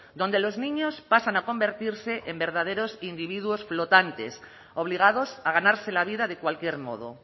donde los niños pasan a convertirse en verdaderos individuos flotantes obligados a ganarse la vida de cualquier modo